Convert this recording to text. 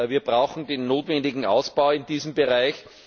Wir brauchen den notwendigen Ausbau in diesem Bereich.